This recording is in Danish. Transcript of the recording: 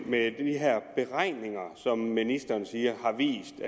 med de her beregninger som ministeren siger har vist